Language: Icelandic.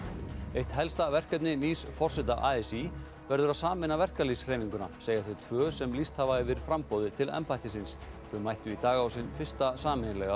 eitt helsta verkefni nýs forseta a s í verður að sameina verkalýðshreyfinguna segja þau tvö sem lýst hafa yfir framboði til embættisins þau mættu í dag á sinn fyrsta sameiginlega